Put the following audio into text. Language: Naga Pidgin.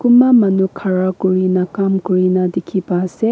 kunba manu khara kori na kam kori na dekhi pai ase.